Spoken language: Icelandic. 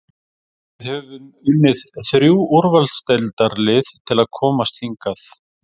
Við höfum unnið þrjú úrvalsdeildarlið til að komast hingað.